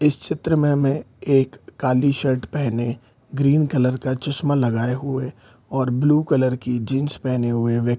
इस चित्र में हमें एक काली शर्ट पहने ग्रीन कलर का चस्मा लगाए हुए और ब्लू कलर की जीन्स पहने हुए व्यक्ति --